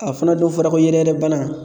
A fana dɔ fɔra ko yɛrɛyɛrɛ bana